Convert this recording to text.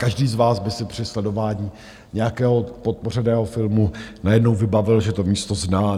Každý z vás by si při sledování nějakého podpořeného filmu najednou vybavil, že to místo zná.